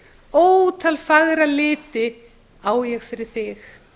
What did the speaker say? ótal fagra liti á ég fyrir þig